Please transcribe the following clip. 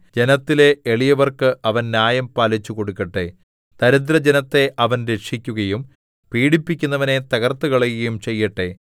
ജനത്തിലെ എളിയവർക്ക് അവൻ ന്യായം പാലിച്ചുകൊടുക്കട്ടെ ദരിദ്രജനത്തെ അവൻ രക്ഷിക്കുകയും പീഡിപ്പിക്കുന്നവനെ തകർത്തുകളയുകയും ചെയ്യട്ടെ